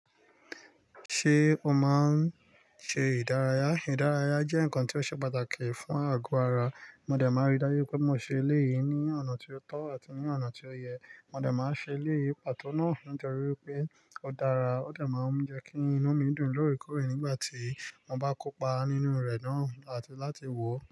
Ṣé o máa ń ṣe ìdárayá? Ìdárayá jẹ́ nǹkan tí ó ṣe pàtàkì fún àgọ́ ara. Mo dẹ̀ máa rí dájú pé mo ṣe eléyìí ní ọ̀nà tí ó tọ́ àti ní ọ̀nà tí ó yẹ. Mo dẹ̀ máa ṣe eléyìí pàtó náà nítorí pé ó dára ó dẹ̀ máa ń jẹ́ kí inu mi dùn lórre kórè nígbà tí mo bá kópa nínú rẹ̀ náà àti láti wò ó.